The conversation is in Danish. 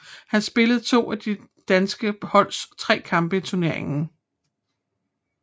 Han spillede to af det danske holds tre kampe i turneringen